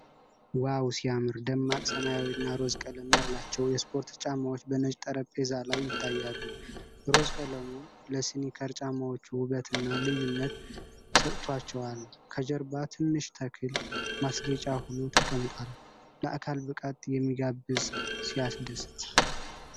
ዋው ሲያምር! ደማቅ ሰማያዊና ሮዝ ቀለም ያላቸው የስፖርት ጫማዎች በነጭ ጠረጴዛ ላይ ይታያሉ። ሮዝ ቀለሙ ለስኒከር ጫማዎቹ ውበትና ልዩነት ሰጥቷቸዋል። ከጀርባ ትንሽ ተክል ማስጌጫ ሆኖ ተቀምጧል። ለአካል ብቃት የሚጋብዝ ሲያስደስት!